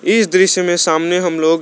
इस दृश्य में सामने हम लोग--